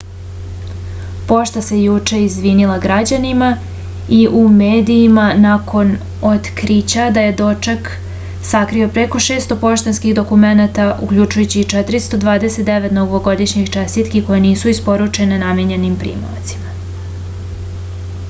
pošta se juče izvinila građanima i u medijima nakon otkrića da je dečak sakrio preko 600 poštanskih dokumenata uključujući i 429 novogodišnjih čestitiki koje nisu isporučene namenjenim primaocima